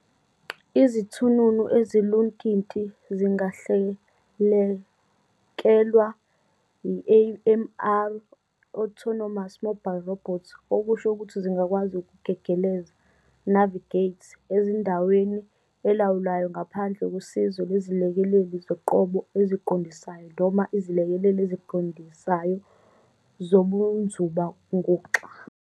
Izithununu eziluntinti "zingahlelelekwa", AMR - autonomous mobile robot, okusho ukuthi zingakwazi ukugegeleza "navigate" endaweni elawulwayo ngaphandle kosizo lwezilekeleli zoqobo eziqondisayo noma izilekeleli eziqondisayo zobunzuba-nguxa.